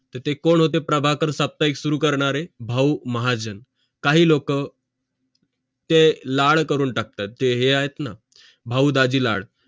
तर ते कोण होते प्रभाकर साप्ताहिक सुरु करणारे भाऊ महाजन काही लोक हे लाड करून टाकतात त है ते आहेत न भाऊ दाजीलाड